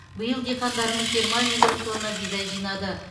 биыл диқандарымыз жиырма миллион тонна бидай жинады